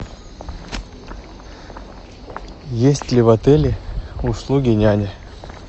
есть ли в отеле услуги няни